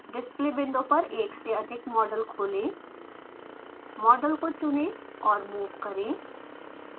display window पर एक से अधिक मॉडल खोलें मॉडल को चुने और मूव करें